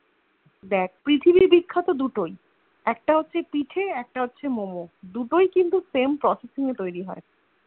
দেখ পৃথিবীর বিখ্যাত দুটোই একটা হোকগে পিঠে একটা হচ্চে Momo দুটোই কিন্তু Same processing এ তৈরী হয়ে